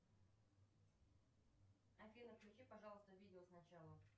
афина включи пожалуйста видео сначала